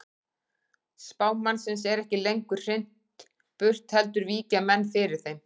Spámannsins er ekki lengur hrint burt heldur víkja menn fyrir þeim.